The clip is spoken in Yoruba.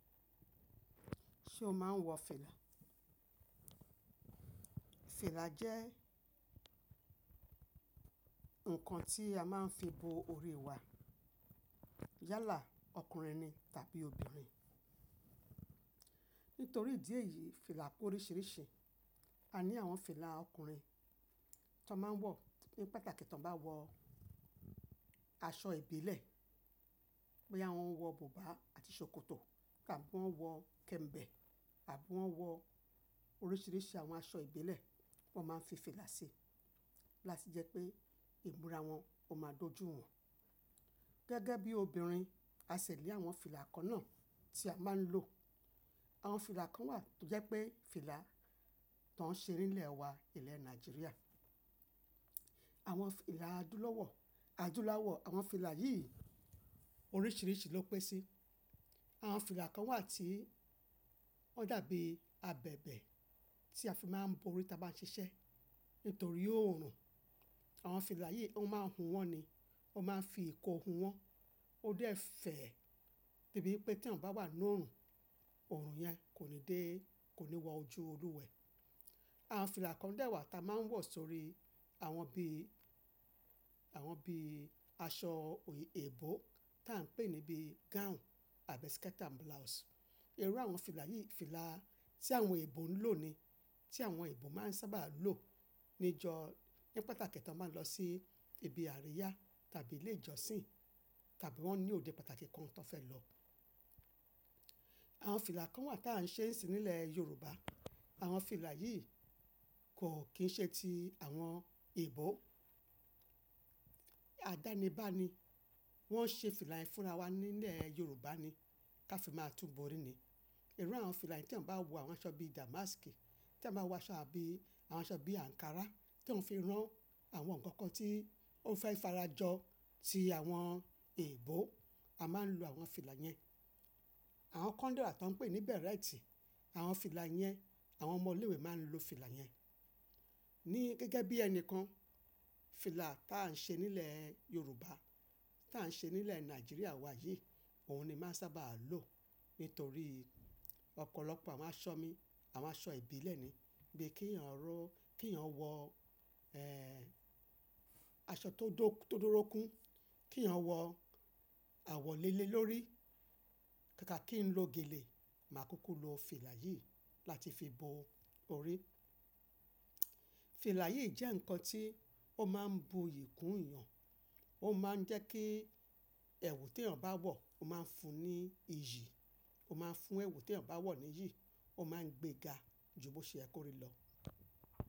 Ṣé o máa ń wọ fìlà? Fìlà jẹ́ ǹkan tí a máa ń fi bo orí wa. Yálà ọkùnrin ni tàbí obìnrin. Nítorí ìdí èyí, fìlà pé oríṣiríṣi. A ní àwọn fìlà ọkùnrin tí wọ́n máa ń wọ ní pàtàkì tí wọ́n bá wọ aṣọ ìbílẹ̀. Bí àwọn wọ bùbá àti ṣòkòtò àbí wọ́n wọ kẹ̀m̀bẹ̀ àbí wọ́n wọ oríṣiríṣi àwọn aṣọ ìbílẹ̀, wọ́n máa ń fi fìlà sí i láti jẹ́ pé ìmúra wọn ó máa dojú wọ́n. Gẹ́gẹ́ bí obìnrin, a ṣẹ̀ ní àwọn fìlà kan náà tí a máa ń lò. Àwọn fìlà kan wà tó jẹ́ pé fìlà tó ń ṣe nílẹ̀ wa, ilẹ̀ Nàìjíríà. Àwọn fìlà adúláwọ̀, adúláwọ̀ àwọn fìlà yìí oríṣiríṣi ló pé sí. Àwọn fìlà kan wà tí wọ́n dàbí abẹ̀bẹ̀ tí a fi máa ń bo orí tí a bá ń ṣiṣẹ́. Nítorí oòrùn. Àwọn fìlà yìí wọ́n máa ń hun wọ́n ni. Wọ́n máa ń fi ìkò hun wọ́n. Ó dẹ́ fẹ̀ẹ́ dẹ́ bí pé tí ẹ̀yàn bá wà nínú oòrùn, oòrùn yẹn kò ní dé, kò ní wọ ojú olúwẹ̀ẹ́. Àwọn fìlà kan de wà tí a máa ń wọ̀ sórí àwọn bí, àwọn bí aṣọ òyìnbó tí a ń pè níbí gown àbí skirt and blouse. Irú àwọn fìlà yìí, fìlà tí àwọn òyìnbó ń lò ni. Tí àwọn òyìnbó máa ń sábà lò níjọ, ní pàtàkì tí wọ́n bá ń lọ sí ibi àríyá tàbí ilé ìjọsìn tàbí wọ́n ní òde pàtàkì kan tí wọ́n fẹ́ lọ. Àwọn fìlà kan wà tí à ń ṣe sì nísìn nílẹ̀ Yorùbá. Àwọn fìlà yìí kò kì í ṣe ti àwọn òyìnbó. Àdánibá ni. Wọ́n ṣe fìlà yìí fúnra wa nílẹ̀ Yorùbá ni, kí a fi máa tún bo orí ni. Irú àwọn fìlà yìí tí à ń bá wọ àwọn aṣọ bíi dàmásìkì, tí à ń bá wọ àwọn aṣọ bíi àǹkárá, tí à ń fi rán àwọn ǹkan kan tí ó fẹ́ farajọ tí àwọn òyìnbó, a máa ń lo àwọn fìlà yẹn. Àwọn kan dé wà tí wọ́n ń pè ní bẹ̀rẹ́tì, àwọn fìlà yẹn àwọn ọmọ ilé ìwé máa ń lo fìlà yẹn. Ni gẹ́gẹ́ bí ẹni kan, fìlà tí à ń ṣe nílẹ̀ Yorùbá, tí à ń ṣe nílẹ̀ Nàìjíríà wa yìí, òun ni máa ń sábà lò nítorí ọ̀pọ̀lọpọ̀ àwọn aṣọ mi, àwọn aṣọ ìbílẹ̀ ni. Bí kí èèyàn ró, kí èèyàn wọ, ẹ́, aṣọ tó dó- tó dúró kún, kí èèyàn wọ àwọ̀ léle lórí, ká ká kí ń lo gèlè, màá kúkú lo fìlà yìí láti fi bo orí. Fìlà yìí jẹ́ ǹkan tí ó máa ń bu iyì kún èèyàn. Ó máa ń jẹ́ kí ẹ̀wù tí èèyàn bá wọ̀ ó máa ń fún un ní iyì. Ó máa ń fún ẹ̀wù tí èèyàn bá wọ̀ ní iyì. Ó máa ń gbéga ju bí ó ṣe yẹ kó rí lọ.